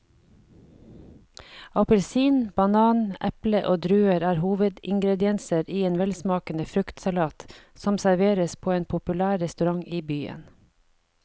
Appelsin, banan, eple og druer er hovedingredienser i en velsmakende fruktsalat som serveres på en populær restaurant i byen.